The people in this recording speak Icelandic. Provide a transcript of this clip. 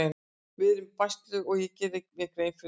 Við erum í basli og ég geri mér grein fyrir því.